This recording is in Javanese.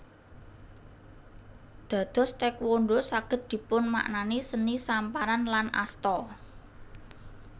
Dados Taékwondho saged dipunmaknani seni samparan lan asta